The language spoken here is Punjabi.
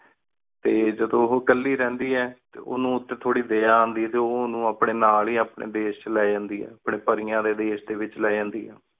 ਟੀ ਜਾਦੁਨ ਉਹੁ ਕਾਲੀ ਰਹੰਦੀ ਆਯ ਟੀ ਉਨੂ ਉਨਤੀ ਥੁਰੀ ਡੇਯ ਆਂਡਿ ਆਯ ਟੀ ਓ ਉਨੂ ਅਪਨੀ ਨਾਲ ਹੀ ਅਪਨ੍ਯਨ ਦੇਸ਼ ਚ ਲੀ ਜਾਂਦੀ ਆਯ ਅਪਨ੍ਯਨ ਪੇਰ੍ਯਾਂ ਡੀ ਦੇਸ਼ ਡੀ ਵੇਚ ਲੀ ਜਾਂਦੀ ਆਯ